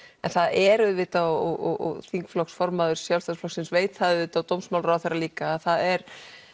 en það er auðvitað og þingflokksformaður Sjálfstæðisflokksins veit það auðvitað og dómsmálaráðherra líka að það er